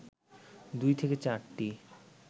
২ থেকে ৪টি